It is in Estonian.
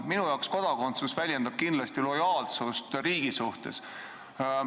Minu jaoks kodakondsus väljendab kindlasti lojaalsust riigi suhtes.